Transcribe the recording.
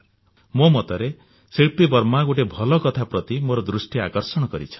ମୋ ମତରେ ଶିଳ୍ପୀ ବର୍ମା ଗୋଟିଏ ଭଲ କଥା ପ୍ରତି ମୋର ଦୃଷ୍ଟି ଆକର୍ଷଣ କରିଛନ୍ତି